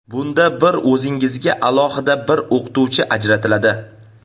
Bunda bir o‘zingizga alohida bir o‘qituvchi ajratiladi.